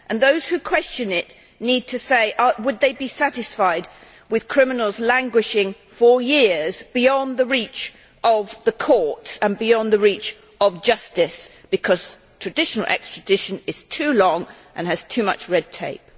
Those who question it need to ask themselves whether they would be satisfied with criminals spending years beyond the reach of the courts and beyond the reach of justice, because traditional extradition takes too long and has too much red tape.